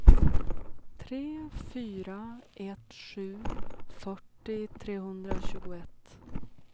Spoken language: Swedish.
tre fyra ett sju fyrtio trehundratjugoett